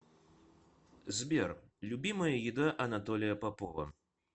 сбер любимая еда анатолия попова